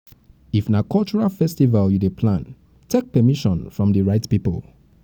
if na cultural festival you dey plan take permission from di right pipo